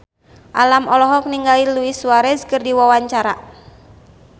Alam olohok ningali Luis Suarez keur diwawancara